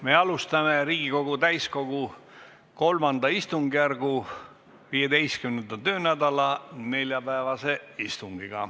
Me alustame Riigikogu täiskogu III istungjärgu 15. töönädala neljapäevast istungit.